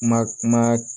Ma